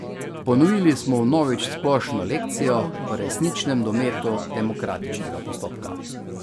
Ponovili smo vnovič splošno lekcijo o resničnem dometu demokratičnega postopka.